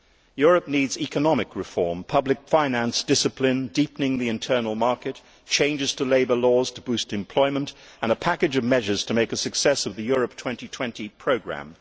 Europe needs economic reform, public finance discipline, deepening the internal market, changes to labour laws to boost employment, and a package of measures to make a success of the Europe 2020 programme.